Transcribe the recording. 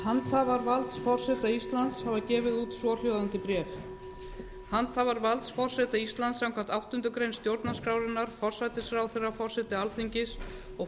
handhafar valds forseta íslands hafa gefið út svohljóðandi bréf handhafar valds forseta íslands samkvæmt áttundu grein stjórnarskrárinnar forsætisráðherra forseti alþingis og